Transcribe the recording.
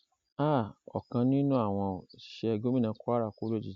um ọkan nínú àwọn òṣìṣẹ gómìnà kwara kú lójijì